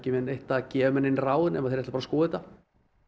að gefa mér nein ráð nema að þeir ætluðu að skoða þetta